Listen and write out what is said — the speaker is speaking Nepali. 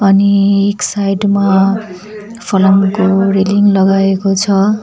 अनि एक साइड मा फलामको रेलिङ लगाएको छ।